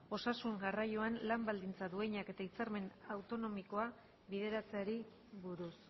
osasun garraioan lan baldintza duinak eta hitzarmen autonomikoa bideratzeari buruz